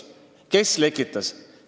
Kes lekitas?